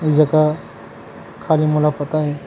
जेकर खाली मोला पता हे।